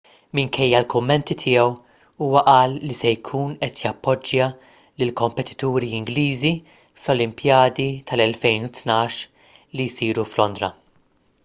minkejja l-kummenti tiegħu huwa qal li se jkun qed jappoġġja lill-kompetituri ingliżi fl-olimpjadi tal-2012 li jsiru f'londra